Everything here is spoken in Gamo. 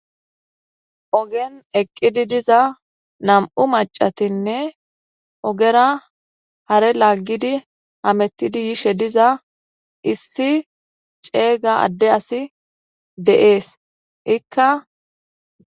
Ogiyan eqidi diza nam'u macatinne ogera hare lagid hametid yishe diza issi ceega Ade aduy de'es Ika....